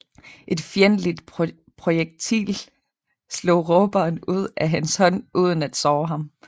Et fjendtligt projektil slog råberen ud af hans hånd uden at såre ham